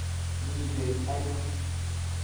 Mii bek aino